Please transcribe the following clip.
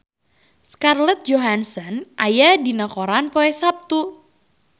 Scarlett Johansson aya dina koran poe Saptu